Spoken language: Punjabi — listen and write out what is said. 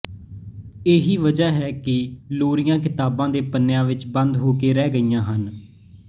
ਇਹੀ ਵਜ੍ਹਾ ਹੈ ਕਿ ਲੋਰੀਆਂ ਕਿਤਾਬਾਂ ਦੇ ਪੰਨਿਆਂ ਵਿੱਚ ਬੰਦ ਹੋ ਕੇ ਰਹਿ ਗਈਆਂ ਹਨ